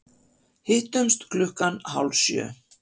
Hittumst klukkan hálf sjö.